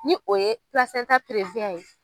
Ni o ye